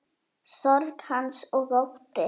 Sorg hans og ótti.